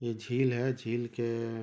ये झील है झील के--